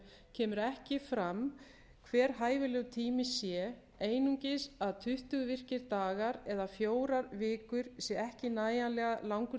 kemur ekki fram hver hæfilegur tími sé einungis að tuttugu virkir dagar eða fjórar vikur sé ekki nægjanlega langur